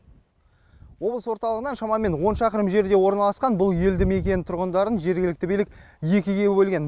облыс орталығынан шамамен он шақырым жерде орналасқан бұл елді мекен тұрғындарын жергілікті билік екіге бөлген